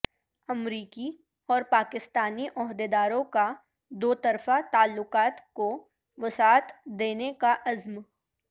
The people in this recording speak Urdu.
امریکی اور پاکستانی عہدیداروں کا دوطرفہ تعلقات کو وسعت دینے کا عزم